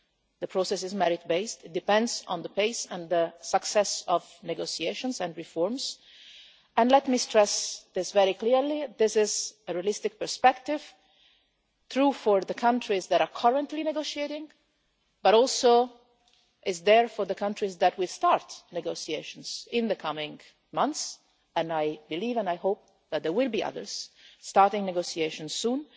The process is merit-based and it depends on the pace and the success of negotiations and reforms, and let me stress this very clearly that this is a realistic perspective which is true for the countries that are currently negotiating, but also for the countries that will start negotiations in the coming months and I believe and hope that there will be others starting negotiations soon